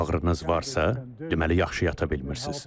Əgər ağrınız varsa, deməli yaxşı yata bilmirsiniz.